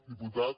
diputat